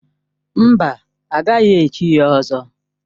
Mba, a gaghị echi ya ỌZỌ.